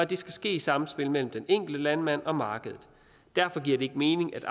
det skal ske i samspil mellem den enkelte landmand og markedet derfor giver det ikke mening at